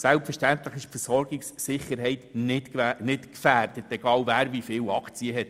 Selbstverständlich ist die Versorgungssicherheit nicht gefährdet, egal, wer wie viele Aktien besitzt.